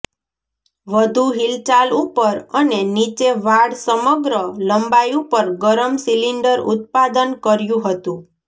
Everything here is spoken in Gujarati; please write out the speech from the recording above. વધુ હિલચાલ ઉપર અને નીચે વાળ સમગ્ર લંબાઈ ઉપર ગરમ સિલિન્ડર ઉત્પાદન કર્યું હતું